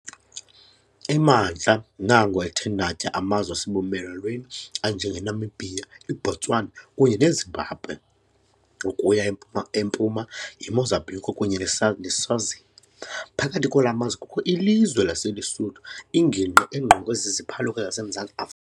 Emantla nango ethe natya amazwe asebumelwaneni anjengeNamibia, iBotswana kunye neZimbabwe, ukuya empuma yiMozambique kunye naseSwazini, phakathi kwala mazwe kukho ilizwe laseLuSuthu, ingingqi engqongwe ziziphaluka zaseMzantsi Afri.